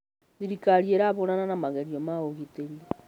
Thĩrĩkarĩ ĩrahũrana na magerĩo ma ũgĩtĩrĩ.